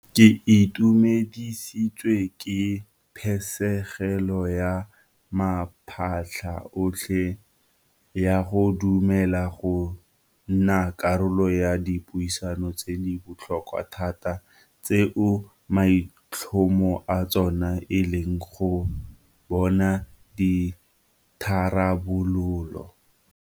Ke itumedisitswe ke phisegelo ya maphata otlhe ya go dumela go nna karolo ya dipuisano tse di botlhokwa thata tseo maitlhomo a tsona e leng go bona ditharabololo.